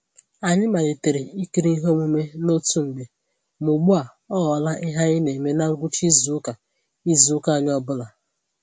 Anyị malitere ikiri ihe omume n'otu mgbe ma ugbu a ọ ghọla ihe anyị na eme na ngwụcha izu ụka izu ụka anyị ọ bụla